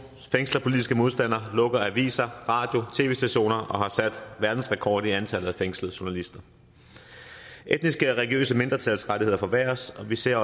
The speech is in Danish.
fængsler politiske modstandere lukker aviser radiostationer og har sat verdensrekord i antallet af fængslede journalister etniske og religiøse mindretals rettigheder forværres og vi ser